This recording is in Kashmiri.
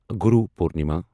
گوٗرو پورنما